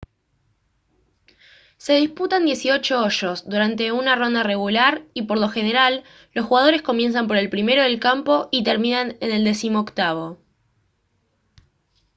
se disputan dieciocho hoyos durante una ronda regular y por lo general los jugadores comienzan por el primero del campo y terminan en el decimoctavo